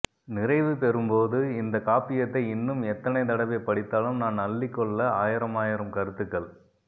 நிறைவு பெறும்போது இந்த காப்பியத்தை இன்னும் எத்தனை தடவை படித்தாலும் நான் அள்ளிக் கொள்ள ஆயிரமாயிரம் கருத்துக்கள்